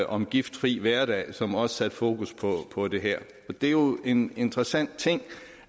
om giftfri hverdag som også satte fokus på det her det er jo en interessant ting